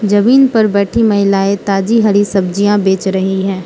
जमीन पर बैठी महिलाएं ताजी हरी सब्जियां बेच रही है।